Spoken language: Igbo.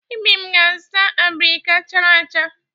Ibim ga-azụta abirika chara acha.